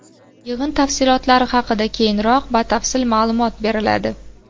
Yig‘in tafsilotlari haqida keyinroq batafsil ma’lumot beriladi.